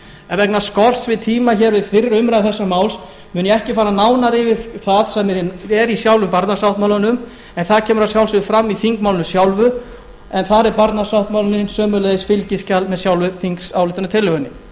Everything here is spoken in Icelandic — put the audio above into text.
en vegna skorts á tíma við fyrri umræðu þessa máls mun ég ekki fara nánar yfir það hvernig er í sjálfum barnasáttmálanum en það kemur að sjálfsögðu fram í þingmálinu sjálfu en þar er barnasáttmálinn sömuleiðis fylgiskjal með sjálfri þingsályktunartillögunni